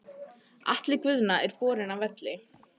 Atli Guðna er borinn af velli.